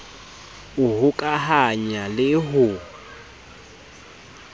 d ho hokahanya le ho